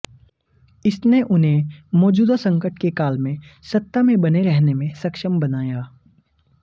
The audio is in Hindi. इसने उन्हें मौजूदा संकट के काल में सत्ता में बने रहने में सक्षम बनाया